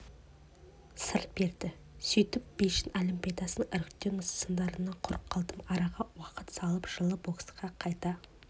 сыр берді сөйтіп бейжің олимпиадасының іріктеу сындарынан құр қалдым араға уақыт салып жылы боксқа қайта